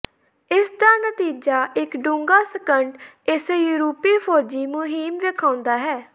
ਇਸ ਦਾ ਨਤੀਜਾ ਇੱਕ ਡੂੰਘਾ ਸੰਕਟ ਇਸੇ ਯੂਰਪੀ ਫੌਜੀ ਮੁਹਿੰਮ ਵੇਖਾਉਦਾ ਹੈ